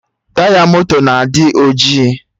Taya moto na-adị ojii